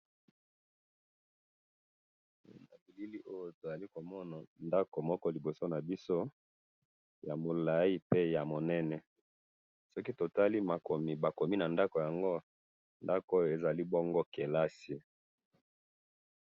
mo bilili oyo ezali komona ngako mo niboso na biso ya molayipe ya monene soki totali ba komi na ngaku iyo eza bongo kelesi